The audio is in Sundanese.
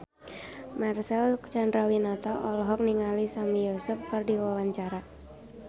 Marcel Chandrawinata olohok ningali Sami Yusuf keur diwawancara